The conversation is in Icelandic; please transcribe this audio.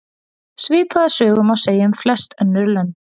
Svipaða sögu má segja um flest önnur lönd.